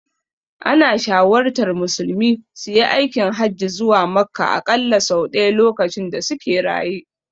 Ana shawartar musulmi suyi aikin hajji zuwa Makka aƙalla sau ɗaya lokacin da suke raye.